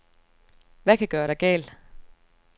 Hvad kan gøre dig gal?